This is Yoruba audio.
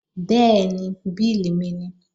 Bẹ́ẹ̀ni, bílì mi nìí